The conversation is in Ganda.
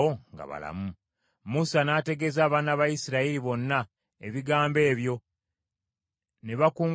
Musa n’ategeeza abaana ba Isirayiri bonna ebigambo ebyo, ne bakungubaga nnyo.